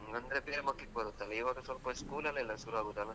ಹ್ಮ್ ಅಂದ್ರೆ ಬೇಗ ಮಕ್ಕಳಿಗೆ ಬರುತ್ತೆ ಅಲ್ಲಾ, ಇವಾಗ ಸ್ವಲ್ಪ school ಅಲ್ಲೇ ಅಲ್ಲಾ ಸುರುವಾಗುದು ಅಲ್ಲಾ?